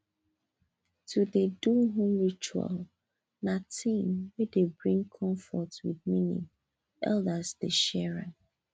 to dey do home ritual na thing wey dey bring comfort wit meaning elders dey share am